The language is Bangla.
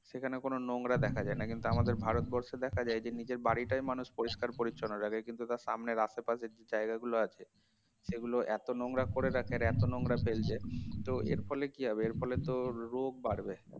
সেখানে কোন নোংরা দেখা যায় না কিন্তু আমাদের ভারতবর্ষে দেখা যায় যে নিজের বাড়িটাই মানুষ পরিষ্কার-পরিচ্ছন্ন রাখে কিন্তু তার সামনের আশেপাশের যে জায়গা গুলো আছে সেগুলো এত নোংরা করে রাখে এত নোংরা ফেলছে তো এর ফলে কি হবে এর ফলে তো রোগ বাড়বে